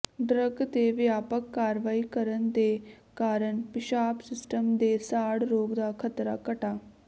drug ਦੇ ਵਿਆਪਕ ਕਾਰਵਾਈ ਕਰਨ ਦੇ ਕਾਰਨ ਪਿਸ਼ਾਬ ਸਿਸਟਮ ਦੇ ਸਾੜ ਰੋਗ ਦਾ ਖਤਰਾ ਘਟਾ